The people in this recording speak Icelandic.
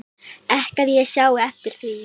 Ekki að ég sjái eftir því